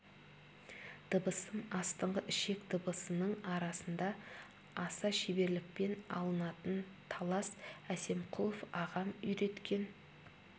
дыбысым астыңғы ішек дыбысының арасында аса шеберлікпен алынатын талас әсемқұлов ағам үйреткен